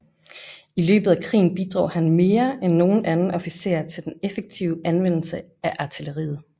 I løbet af krigen bidrog han mere end nogen anden officer til den effektive anvendelse af artilleriet